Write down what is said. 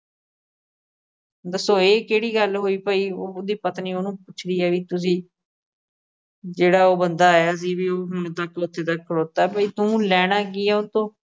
ਦੱਸੋ, ਇਹ ਕਿਹੜੀ ਗੱਲ ਹੋਈ ਭਾਈ ਉਹਦੀ ਪਤਨੀ ਉਹਨੂੰ ਪੁੱਛਦੀ ਹੈ, ਵੀ ਤੁਸੀਂ ਜਿਹੜਾ ਉਹ ਬੰਦਾ ਆਇਆ ਸੀ। ਵੀ ਹੁਣ ਤੱਕ ਓਥੇ ਦਾ ਖਲੋਤਾ ਭਾਈ, ਤੂੰ ਲੈਣਾ ਕੀ ਐ ਉਹ ਤੋਂ